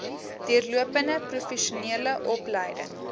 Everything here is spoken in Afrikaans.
deurlopende professionele opleiding